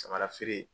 Samara feere